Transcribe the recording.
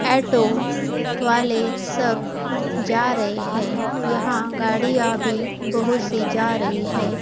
आयेटो वाले सब जा रहे हैं यहां गाड़ीयां भी बहुत सी जा रही है।